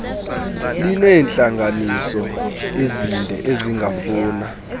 lineentlanganiso ezinde ezingafuna